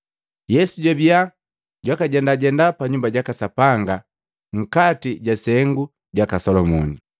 Yesu jwabia jwakajendajenda pa Nyumba jaka Sapanga nkati ja sengu jaka Solomoni.